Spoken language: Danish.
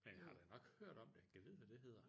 Men jeg har da nok hørt om det jeg gad vide hvad det hedder?